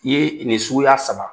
I ye nin suguya saba.